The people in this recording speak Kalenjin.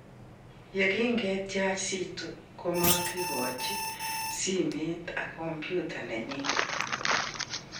Ye king kityach Zitto, makikachi simet ak kompyutait nenyi